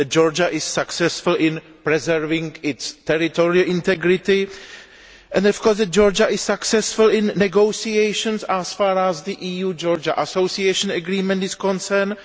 that Georgia is successful in preserving its territorial integrity and of course that Georgia is successful in negotiations as far as the EU Georgia Association Agreement is concerned